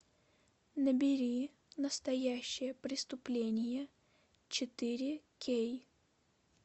набери настоящее преступление четыре кей